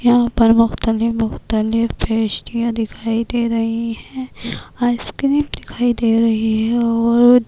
یھاں پر مختلف مختلف پسٹیاں دکھایی دے رہی ہے، ایس کریم دکھایی دے رہی ہے اور--